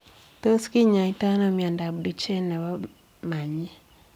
Tos kinyaitoo anoo miondoop Duchene nepoo panyeek ?